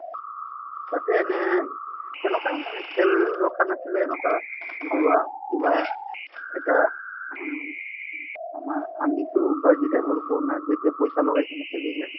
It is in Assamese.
তাতে এনে এনেকুৱা মানে খেল ৰখা নাছিলে এনেকুৱা কিবা এতিয়া হুম আমাৰ আমিতো বাজি type ৰ কওঁ না যেতিয়া পইচা লগাই কিনে খেলো যে